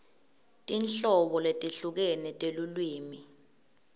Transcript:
tinhlobo letehlukene telulwimi